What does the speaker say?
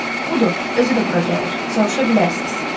Budur, özü də bura gəlir, soruşa bilərsiz.